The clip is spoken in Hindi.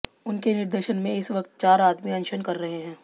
उनके निर्देशन में इस वक़्त चार आदमी अनशन कर रहे हैं